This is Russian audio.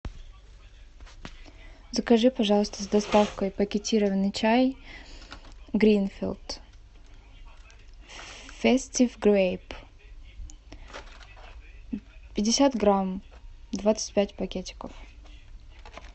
закажи пожалуйста с доставкой пакетированный чай гринфилд фестив грейп пятьдесят грамм двадцать пять пакетиков